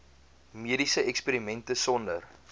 mediese eksperimente sonder